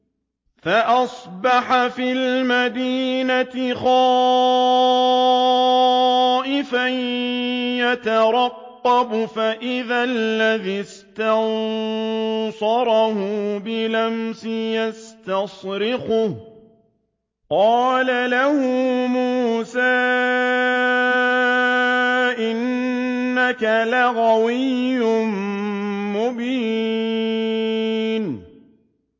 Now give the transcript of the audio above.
فَأَصْبَحَ فِي الْمَدِينَةِ خَائِفًا يَتَرَقَّبُ فَإِذَا الَّذِي اسْتَنصَرَهُ بِالْأَمْسِ يَسْتَصْرِخُهُ ۚ قَالَ لَهُ مُوسَىٰ إِنَّكَ لَغَوِيٌّ مُّبِينٌ